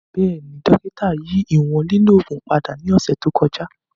Bẹẹni, dokita yi iwọn lilo oogun pada ni ọsẹ to kọja.